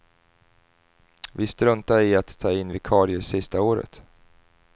Vi struntade i att ta in vikarier sista året.